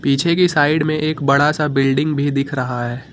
पीछे की साइड में एक बड़ा सा बिल्डिंग भी दिख रहा है।